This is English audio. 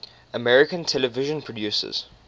american television producers